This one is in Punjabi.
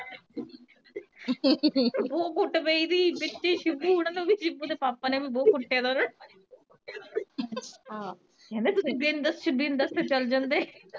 ਉਂ ਕੁੱਟ ਪਈ ਗਈ ਵਿੱਚ ਏ ਸ਼ਿਬੂ ਹੋਣਾ ਦੇ ਸ਼ਿਬੂ ਦੇ ਪਾਪਾ ਨੇ ਬਹੁਤ ਕੁਟਿਆ ਆਹ ਕੇਂਦੇ ਬਿਨ ਦੱਸੇ, ਬਿਨ ਦੱਸੇ ਤੁਰ ਜਾਂਦੇ